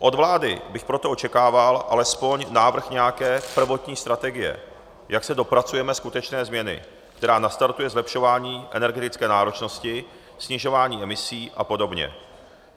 Od vlády bych proto očekával alespoň návrh nějaké prvotní strategie, jak se dopracujeme skutečné změny, která nastartuje zlepšování energetické náročnosti, snižování emisí a podobně.